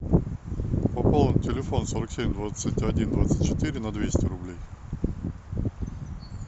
пополнить телефон сорок семь двадцать один двадцать четыре на двести рублей